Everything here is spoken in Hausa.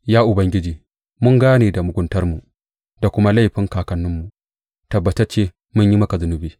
Ya Ubangiji, mun gane da muguntarmu da kuma laifin kakanninmu; tabbatacce mun yi maka zunubi.